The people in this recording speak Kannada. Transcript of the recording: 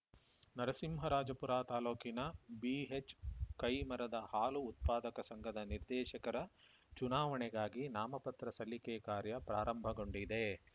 ನರಸಿಂಹರಾಜಪುರ ತಾಲೂಕಿನ ಬಿಎಚ್‌ಕೈಮರದ ಹಾಲು ಉತ್ಪಾದಕ ಸಂಘದ ನಿರ್ದೇಶಕರ ಚುನಾವಣೆಗಾಗಿ ನಾಮಪತ್ರ ಸಲ್ಲಿಕೆ ಕಾರ್ಯ ಪ್ರಾರಂಭಗೊಂಡಿದೆ